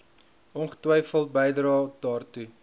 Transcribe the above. ongetwyfeld bydrae daartoe